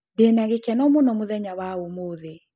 Ndĩnagĩkeno mũno mũthenya wa ũmũthĩ